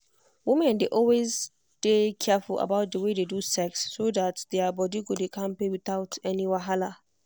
women dey always dey careful about the way they do sex so that their body go dey kampe without any wahala.